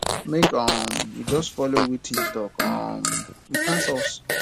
make um we just dey follow wetin he um talk he pass us